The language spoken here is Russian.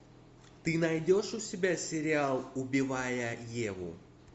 ты найдешь у себя сериал убивая еву